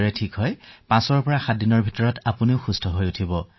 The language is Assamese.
সাধাৰণ চৰ্দীজ্বৰ যিদৰে ঠিক হৈ যায় তেনেকৈ এয়াও পাঁচছয় দিনতে ঠিক হৈ যাব